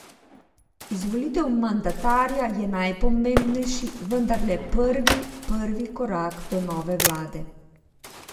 Izvolitev mandatarja je najpomembnejši, vendar le prvi prvi korak do nove vlade.